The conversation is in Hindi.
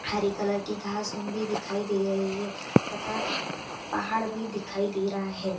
हरे कलर की घास उन भी दिखाई दे रही है तथा पहाड़ भी दिखाई दे रहा है।